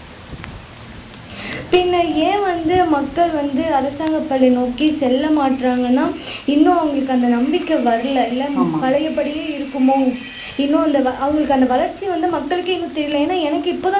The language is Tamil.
பின்னே ஏன் வந்து மக்கள் வந்து அரசாங்க பள்ளியை நோக்கி செல்ல மாட்டேங்குறாங்கன்னா இன்னும் அவங்களுக்கு அந்த நம்பிக்கை வரல இல்லை பழைய படியே இருக்குமோ இன்னும் அவங்களுக்கு அந்த வளர்ச்சி வந்து மக்களுக்கே இன்னும் தெரியல ஏன்னா எனக்கு இப்பதான்